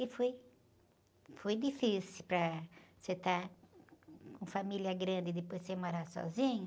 E foi... Foi difícil para... Você estar com família grande e depois você morar sozinho.